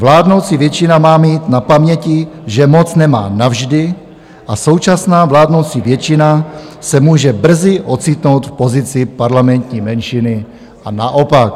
Vládnoucí většina má mít na paměti, že moc nemá navždy, a současná vládnoucí většina se může brzy ocitnout v pozici parlamentní menšiny a naopak."